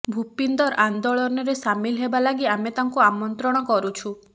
ଭୂପିନ୍ଦର ଆନ୍ଦୋଳନରେ ସାମିଲ ହେବା ଲାଗି ଆମେ ତାଙ୍କୁ ଆମନ୍ତ୍ରଣ କରୁଛୁ